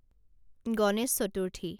Ganesh Chaturthi